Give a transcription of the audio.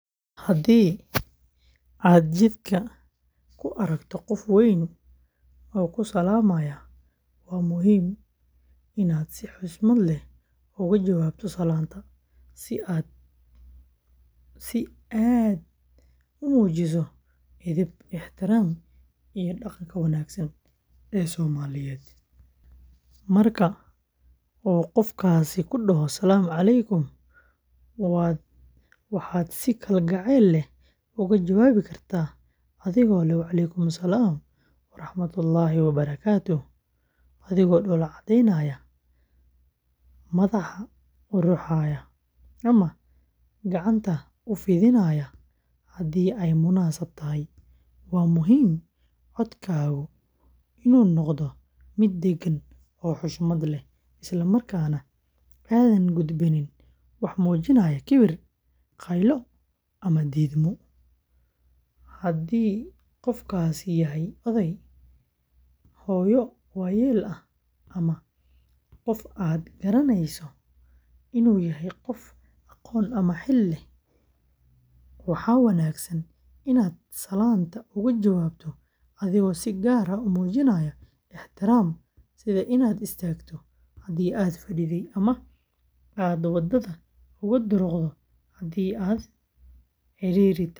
Haddii aad jidka ku aragto qof weyn oo ku salaamaya, waa muhiim inaad si xushmad leh uga jawaabto salaanta, si aad muujiso edeb, ixtiraam, iyo dhaqanka wanaagsan ee Soomaaliyeed. Marka uu qofkaasi kuu dhaho “Asalaamu Calaykum,” waxaad si kalgacal leh uga jawaabi kartaa adigoo leh, “Wa Calaykum Salaam Waraxmatullaahi Wabarakaatuh,” adigoo dhoola caddeynaya, madaxa u ruxaya, ama gacanta u fidinaya haddii ay munaasab tahay. Waa muhiim in codkaagu noqdo mid deggan oo xushmad leh, isla markaana aadan gudbinin wax muujinaya kibir, qaylo, ama diidmo. Haddii qofkaasi yahay oday, hooyo waayeel ah, ama qof aad garanayso inuu yahay qof aqoon ama xil leh, waxaa wanaagsan inaad salaanta uga jawaabto adigoo si gaar ah u muujinaya ixtiraam, sida inaad istaagto haddii aad fadhiday, ama aad waddada uga durugto haddii ay cidhiidhi tahay.